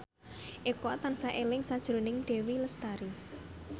Eko tansah eling sakjroning Dewi Lestari